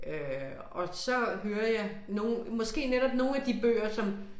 Øh og så hører jeg nogle måske netop nogle af de bøger som